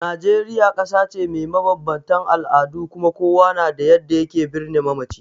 Najeriya kasa ce mai mabanbantan al'adu kuma kowa na da yadda ya ke birne mamaci.